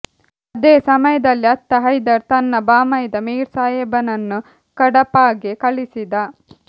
ಅದೇ ಸಮಯದಲ್ಲಿ ಅತ್ತ ಹೈದರ್ ತನ್ನ ಬಾಮೈದ ಮೀರ್ ಸಾಹೇಬನನ್ನು ಕಡಪಾಗೆ ಕಳಿಸಿದ